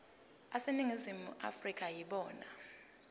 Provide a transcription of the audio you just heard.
aseningizimu afrika yibona